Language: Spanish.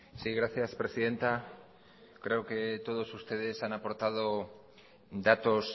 sí gracias presidenta creo que todos ustedes han aportado datos